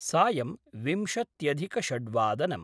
सायम् विंशत्यधिकषड्वादनम्